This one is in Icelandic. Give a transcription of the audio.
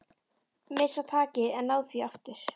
Missa takið en ná því aftur.